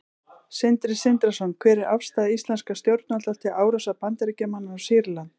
Sindri Sindrason: Hver er afstaða íslenskra stjórnvalda til árásar Bandaríkjamanna á Sýrland?